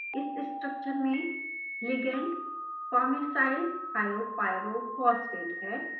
इस स्ट्रक्चर में ligand farnesylthiopyrophosphate है